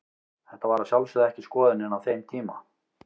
Þetta var að sjálfsögðu ekki skoðunin á þeim tíma.